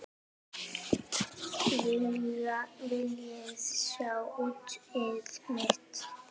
Viljiði sjá úrið mitt?